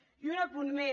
i un apunt més